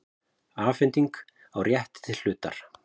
Afhending á rétti til hlutar.